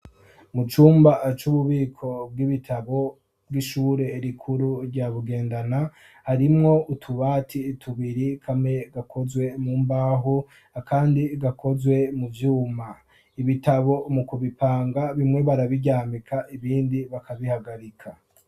Mu cumba c'ububiko bw'ibitabo bw'ishure rikuru rya Bugendana, harimwo utubati tubiri kamwe gakozwe mu mbaho, akandi gakozwe mu vyuma ibitabo mu kubipanga bimwe barabiryamika ibindi bakabihagarika.